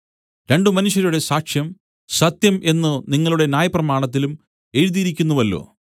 രണ്ടു മനുഷ്യരുടെ സാക്ഷ്യം സത്യം എന്നു നിങ്ങളുടെ ന്യായപ്രമാണത്തിലും എഴുതിയിരിക്കുന്നുവല്ലോ